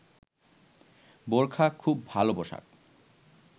বোরখা খুব ভালো পোশাক